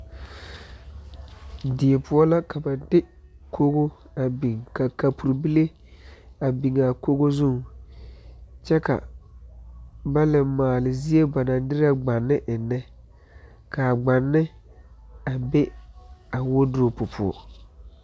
Deɛ pou la ka ba de kogo a bing ka kapuri bile a bing a kogo zung kye ka ba le maale zeɛ ba nang dire gbani engna kaa gbani a be a wardropu pou.